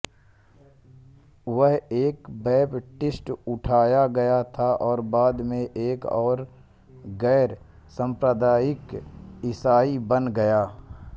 वह एक बैपटिस्ट उठाया गया था और बाद में एक गैर सांप्रदायिक ईसाई बन गया